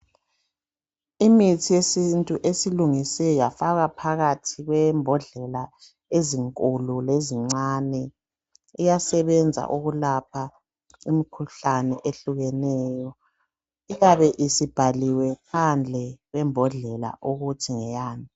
Imithi yesintu esilungisiwe yafakea phakathi kwembodlela enkulu lencane yafakwa emabhokisini yabhalwa ngaphandle ukuba ngeyani.